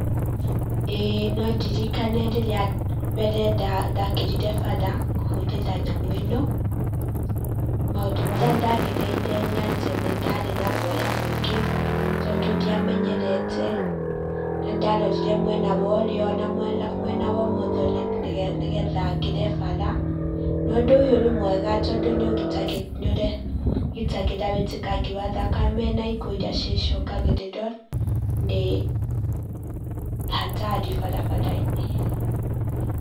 Ĩĩ no ndirikane rĩrĩa rĩa mbere ndakĩrire bara kũhũthĩra nyamũ ĩno, maũndũ marĩa ndagereire nĩ atĩ nĩ ndarĩ na guaya mũingĩ tondũ ndiamenyerete. Nĩ ndarorire mwena wa ũrĩo na mwena wa ũmotho nĩgetha ngĩre bara, na ũndũ ũyũ nĩ mwega tondũ nĩ ũgitagĩra wũitĩkangi wa thakame na ikuũ iria cicũngagĩrĩrwo nĩ hatari barabara-inĩ.